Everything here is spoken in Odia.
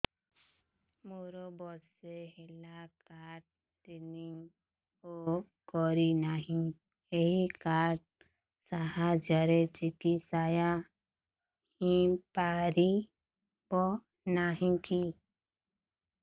ମୋର ବର୍ଷେ ହେଲା କାର୍ଡ ରିନିଓ କରିନାହିଁ ଏହି କାର୍ଡ ସାହାଯ୍ୟରେ ଚିକିସୟା ହୈ ପାରିବନାହିଁ କି